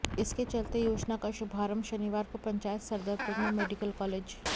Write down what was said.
इसके चलते योजना का शुभारंभ शनिवार को पंचायत सदरपुर में मेडिकल कालेज